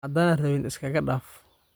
Hadana rawin iskaga daaf.